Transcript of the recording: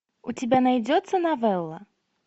у тебя найдется новелла